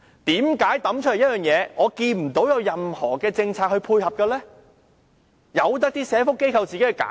為何拋出一個計劃後，見不到任何政策配合，任由社福機構自行推展？